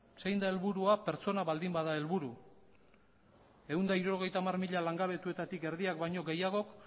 zein da helburua pertsona baldin bada helburu ehun eta hirurogeita hamar mila langabetuetatik erdiak baino gehiagok